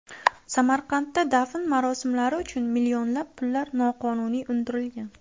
Samarqandda dafn marosimlari uchun millionlab pullar noqonuniy undirilgan.